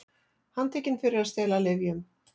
Handtekin fyrir að stela lyfjum